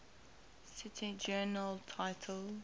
cite journal title